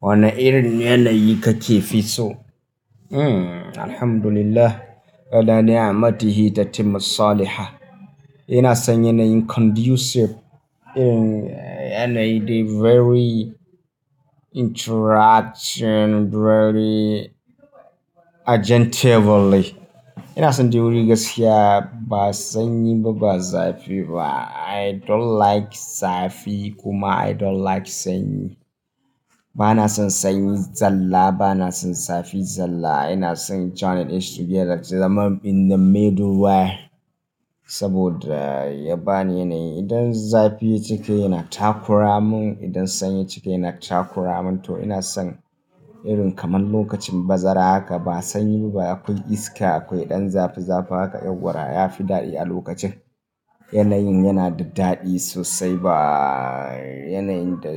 Wane irin yanayi kake fi so? Hmm, Alhamdulillah. Ala naa matihi tatimu saliha "ina son yanayin conducive, yanayi the very interaction very agentively. Ina son theory gaskiya, ba sanyi ba, ba zafi ba. I don't like zafi kuma I don't like sanyi. Ba na son sanyi zalla, ba na son zafi zalla. Ina son join it together zaman in the middle way. Saboda ya ba ni yanayi, idan zafi ya cika yana takura mun, idan sanyi ya cika yana takura mun. To ina son irin kamar lokacin bazara haka, ba sanyi ba, akwai iska, akwai ɗan zafi zafi haka. Yauwa ya fi daɗi a lokacin. Yanayin yana da daɗi sosai ba yanayin da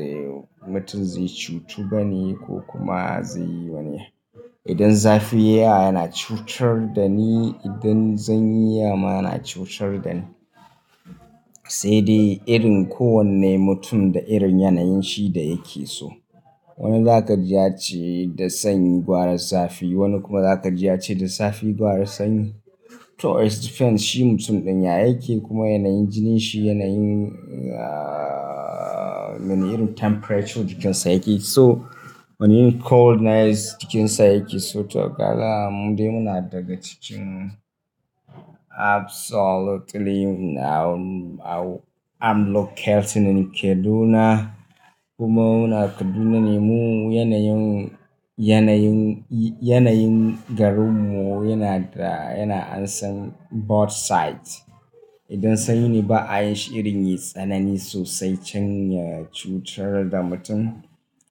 mutum zai cutu bane ko kuma zai yi wani yanayi. Idan zafi ya yawa yana cutar da ni, idan sanyi yayi yawa ma ya na cutar da ni. Sai dai irin kowane mutum da irin yanayin shi da yake so. Wani zaka ji ya ce da sanyi gwara zafi, wani kuma zaka ji ya ce da zafi gwara sanyi. To it depends shi mutum ɗin ya yake kuma yanayin jinin shi yanayin, irin temperature jikinsa yake so. Wani coldness jikinsa yake so. To kaga mu dai muna daga cikin absolutely I'm local tunani Kaduna. Kuma muna Kaduna ne mu yanayin, yanayin, yanayin garin mu yana da, yana ansan both sides. Idan sanyi ne ba a yi shi irin yi tsanani sosai can ya cutar da mutum.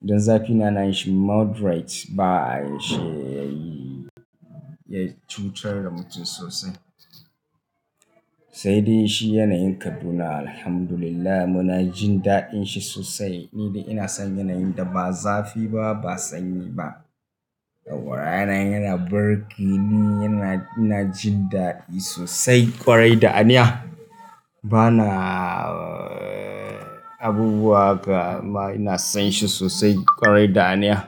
Idan zafi yana yin shi moderate ba a yi shi yayi, ya cutar da mutum sosai. Sai dai shi yanayin Kaduna Alhamdulillah muna jin daɗin shi sosai. Ni dai ina son yanayin da ba zafi ba, ba sanyi ba. Yauwa yanayin yana burge ni, yana, ina jin daɗi sosai kwarai da aniya ba na abubuwa haka amma ina son shi sosai kwarai da aniya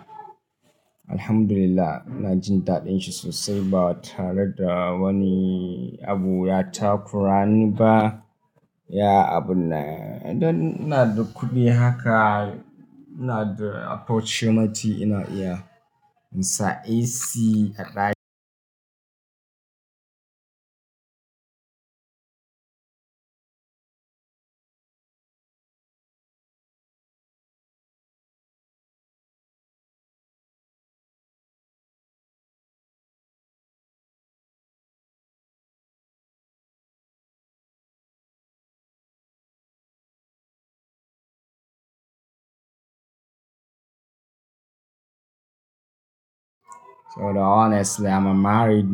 Alhamdulillah ina jin daɗin shi sosai ba tare da wani abu ya takura ni ba. Ya abu na, idan ina da kuɗi haka, ina da opportunity ina iya insa AC a honestly im married.